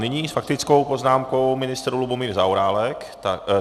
Nyní s faktickou poznámkou ministr Lubomír Zaorálek.